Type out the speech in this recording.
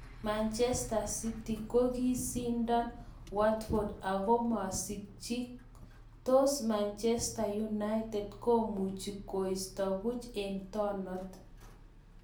Manchester City kokisindon Watford ako masikchi tos Manchester United komuchi koisto puch eng tonot.